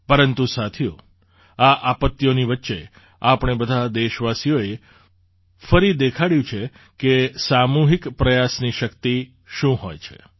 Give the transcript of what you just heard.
પરંતુ સાથીઓ આ આપત્તિઓની વચ્ચે આપણે બધાં દેશવાસીઓએ ફરી દેખાડ્યું છે કે સામૂહિક પ્રયાસની શક્તિ શું હોય છે